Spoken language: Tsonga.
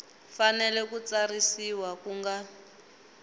fanele ku tsarisiwa ku nga